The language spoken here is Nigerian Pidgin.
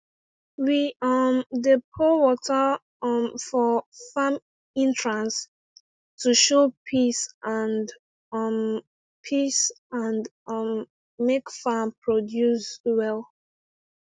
we um dey pour water um for farm entrance to show peace and um peace and um make farm produce well